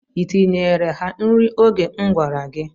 I tinyeere ha nri oge m gwara gị?